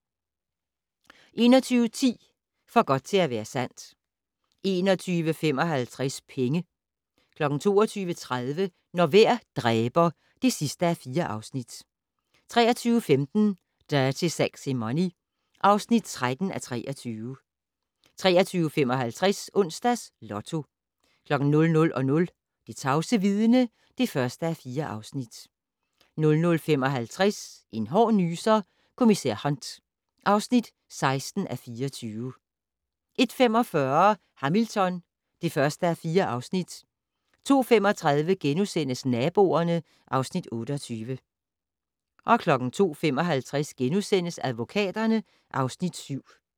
21:10: For godt til at være sandt 21:55: Penge 22:30: Når vejr dræber (4:4) 23:15: Dirty Sexy Money (13:23) 23:55: Onsdags Lotto 00:00: Det tavse vidne (1:4) 00:55: En hård nyser: Kommissær Hunt (16:24) 01:45: Hamilton (1:4) 02:35: Naboerne (Afs. 28)* 02:55: Advokaterne (Afs. 7)*